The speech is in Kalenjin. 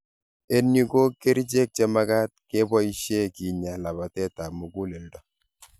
En yu ko kercheek chemagat keboishe kinya labateet ap muguleldo.